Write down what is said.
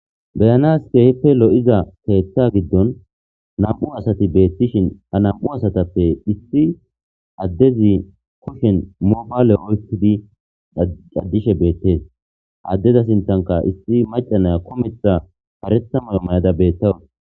Beyana ske hippe lo7iza teeththa giddon nam7u asati beettishin a nam7u asatappe issi addezi kushen mobaale oykidi caddishe beettees addeza sintanka issi macanaya kometha parethamayo may7ada beettawun